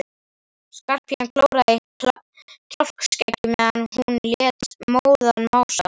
Skarphéðinn klóraði í kjálkaskeggið meðan hún lét móðan mása.